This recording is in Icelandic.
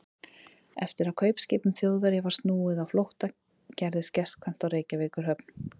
Eftir að kaupskipum Þjóðverja var snúið á flótta, gerðist gestkvæmt á Reykjavíkurhöfn.